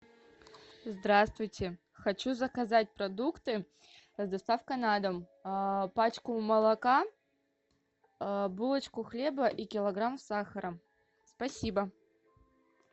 здравствуйте хочу заказать продукты с доставкой на дом пачку молока булочку хлеба и килограмм сахара спасибо